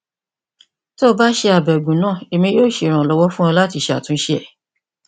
ti o ba ṣe abẹgun naa emi yoo ṣe iranlọwọ fun ọ lati ṣe atunṣe rẹ